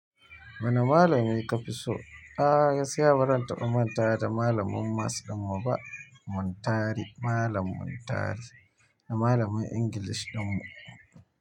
Wane malamai ka fi so? A'a, sai a baran taɓa manta da malamin maths ɗinmu ba, Muntari, Malam Muntari, da malamin English ɗinmu.